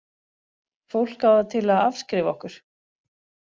Fólk á það til að afskrifa okkur.